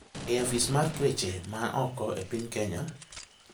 e afis mar weche ma oko e piny Kenya,